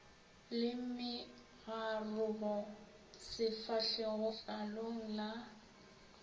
le megarogo sefahlegong letlalong la